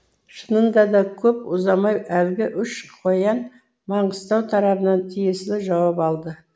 шынында да көп ұзамай әлгі үш қоян маңғыстау тарабынан тиесілі жауап алды